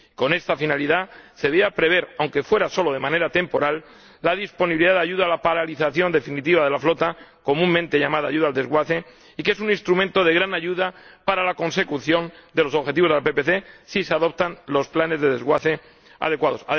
Con esta finalidad se debería prever, aunque fuera solo de manera temporal, la disponibilidad de ayuda a la paralización definitiva de la flota, comúnmente llamada ayuda al desguace, que es un instrumento de gran ayuda para la consecución de los objetivos de la PPC si se adoptan los planes de desguace adecuados.